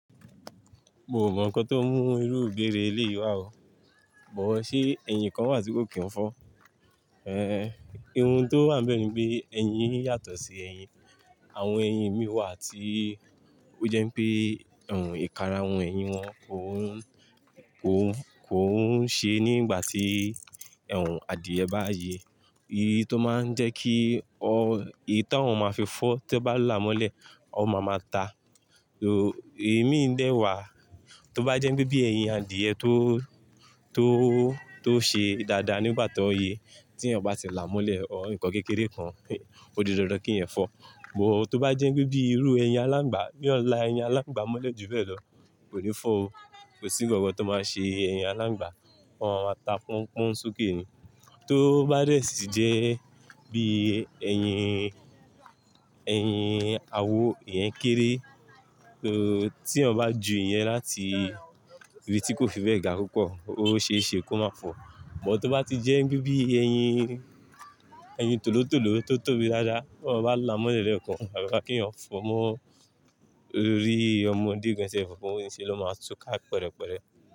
Mo mọ̀ nǹkan tó mú irú ìgbérè èléyìí wà o, bọ̀ ṣe ẹyin kan wà tí kò kí n fọ́. E hun tó wà níbẹ̀ ni pé ẹyin yín yàtọ̀ sí ẹyin. Àwọn ẹyin mi wà tí ó jẹ́ ń pé ìkarahun ẹyin wọn kò hún, kò hún, kò hún ṣe nígbà tí adìẹ bá yin. Èyí tó máa ń jẹ́ kí ọ, èyí tà wọn máa fi fọ́ tí ó bá là á mọ́lẹ̀, ọ má máa ta. Ò, è mi dẹ́ wà, tó bá jẹ́ ń pè bí ẹyin adìẹ tó, tó, tó ṣe dáadáa nígbà tó ye, tí èèyàn bá ti là á mọ́lẹ̀, ọ̀r, nǹkan kékeré kan, ó di dandan kí yen fọ́. Bọ̀ tó bá jẹ́ ń pè bí irú ẹyin alángbà, bí wọ́n là ẹyin alángbà mọ́lẹ̀ jù bẹ́ẹ̀ lọ, kò ní fọ́ o. Kò sí nǹkan kan tó máa ṣe ẹyin alángbà. Wọ́n má máa ta pún, pún sokẹ́ ni. Tó bá dé sì jẹ́ bí i ẹyin, ẹyin àwo, ìyẹn kéré, tí èèyàn bá ju ìyẹn láti ibi tí kò fi bẹ gà púpọ̀, ó ṣe é ṣe kó máa fọ̀. Bọ̀ tó bá ti jẹ́ bí ń bí ẹyin, ẹyin tòló-tòló tó tóbi dáadáa, tí wọ́n bá là á mọ́lẹ̀ lẹ́ẹ̀kan, àgàgà kí eeyan fọ̀ mọ́, orí ọmọdé gan sef fò ń ṣe ló máa túká pẹ̀rẹ̀pẹ̀rẹ̀